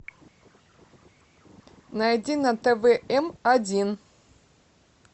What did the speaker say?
найди на тв м один